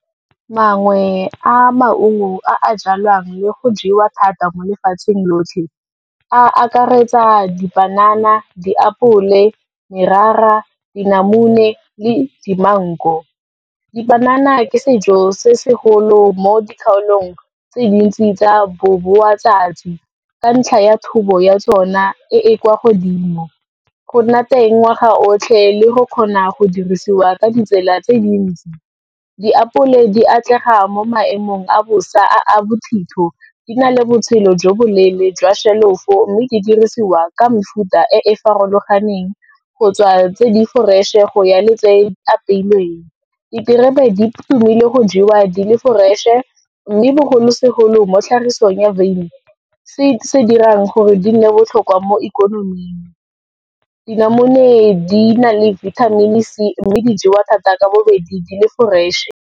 Mangwe a maungo a jalwang le go jewa thata mo lefatsheng lotlhe a akaretsa dipanana, diapole, merara dinamune le di-mango. Dipanana ke sejo se se golo mo dikgaolong tse dintsi tsa boboatsatsi, ka ntlha ya thobo ya tsona e e kwa godimo, go nna teng ngwaga otlhe le go kgona go dirisiwa ka ditsela tse dintsi. Diapole di atlega mo maemong a bosa a a bothitho, di na le botshelo jo boleele jwa shelofo, mme di dirisiwa ka mefuta e e farologaneng, go tswa tse di-fresh-e, go ya le tse di apeilweng. Diterebe di tumile go jewa di le fresh-e, mme bogolosegolo mo tlhagisong ya veine, se se dirang gore di nne botlhokwa mo ikonoming, dinamune di na le vitamin C, mme di jewa thata ka bobedi di le fresh-e.